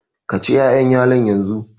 Ka ci wa'ƴannan yalon yanzu!